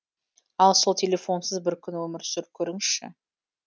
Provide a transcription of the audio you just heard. ал сол телефонсыз бір күн өмір сүріп көріңізші